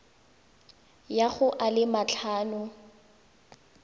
ya go a le matlhano